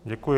Děkuji.